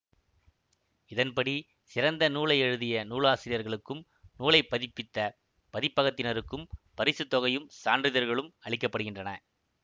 இதன்படி சிறந்த நூலை எழுதிய நூலாசிரியர்களுக்கும் நூலைப் பதிப்பித்த பதிப்பகத்தினருக்கும் பரிசு தொகையும் சான்றிதழ்களும் அளிக்கப்படுகின்றன